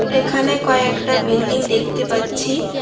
এখানে কয়েকটা বিল্ডিং দেখতে পাচ্ছি।